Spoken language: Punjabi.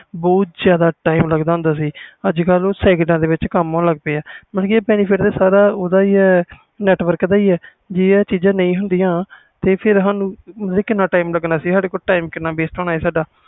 ਪਹਿਲੇ ਬਹੁਤ ਜਿਆਦਾ time ਲੱਗ ਦਾ ਹੁੰਦਾ ਸੀ ਅਜ ਕਲ ਉਹ ਕਮ second ਵਿਚ ਹੋ ਜਾਂਦਾ ਆ ਮਤਬਲ benefit ਓਹਦਾ ਹੀ ਆ ਜੇ ਸਾਡੇ ਕੋਲ ਆਹ ਚੀਜ਼ਾਂ ਨਾ ਹੁੰਦੀਆਂ ਤੇ ਸਾਡਾ ਕਿੰਨਾ time ਲੱਗਣਾ ਸੀ